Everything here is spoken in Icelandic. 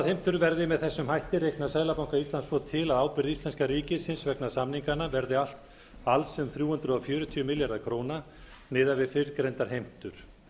heimtur verði með þessum hætti reiknast seðlabanka íslands svo til að ábyrgð íslenska ríkisins vegna samninganna verði alls um þrjú hundruð fjörutíu milljarðar króna miðað við fyrrgreindar heimtur